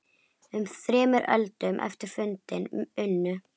Um þremur öldum eftir fundinn unnu